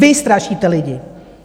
Vy strašíte lidi.